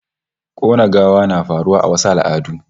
Kona gawa na faruwa a wasu al'adun